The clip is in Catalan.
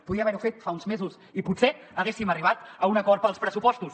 podia haver ho fet fa uns mesos i potser haguéssim arribat a un acord per als pressupostos